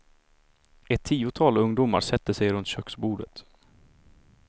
Ett tiotal ungdomar sätter sig runt köksbordet.